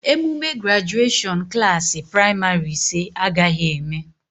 Emume grajuashọn Klassị pramarị ise agaghị eme